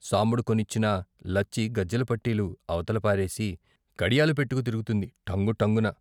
సాంబడు కొనిచ్చినా లచ్చి గజ్జెల పట్టీలు అవతల పారేసి కడియాలు పెట్టుకు తిరుగుతుంది "టంగు టంగున"